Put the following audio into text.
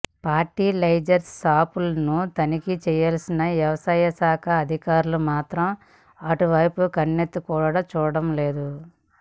fertilisers షాపులను తనిఖి చేయాల్సిన వ్యవసాయాశా ఖాధికారులు మాత్రం అటువైపు కన్నెతి కూడా చూడటం లేదు